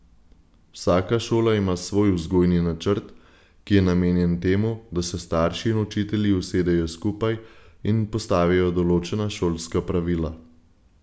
Vsaka šola ima svoj vzgojni načrt, ki je namenjen temu, da se starši in učitelji usedejo skupaj in postavijo določena šolska pravila.